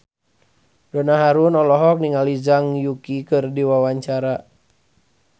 Donna Harun olohok ningali Zhang Yuqi keur diwawancara